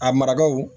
A marakaw